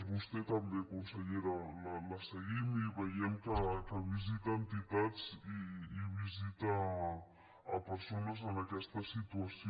vostè també consellera la seguim i veiem que visita entitats i visita persones en aquesta situació